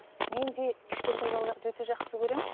мен де кішкентай балаларды өте жақсы көремін